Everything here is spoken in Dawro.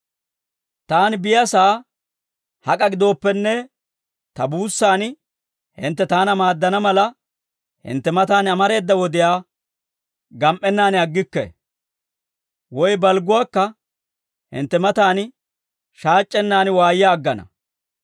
Taani biyaasaa hak'a gidooppenne, ta buussan hintte taana maaddana mala, hintte matan amareeda wodiyaa gam"ennaan aggikke. Woy balgguwaakka hintte matan shaac'c'ennan waayya aggana.